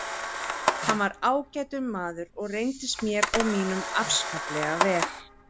Hann var ágætur maður og reyndist mér og mínum afskaplega vel.